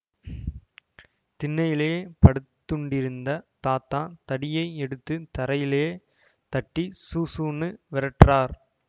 திண்ணையிலே படுத்துண்டிருந்த தாத்தா தடியை எடுத்து தரையிலே தட்டி சூசூன்னு வெரட்டறார்